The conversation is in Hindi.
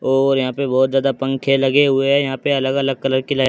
और यहां पे बहोत ज्यादा पंख लगे हुए हैं। यहां पे अलग अलग कलर की लाइट --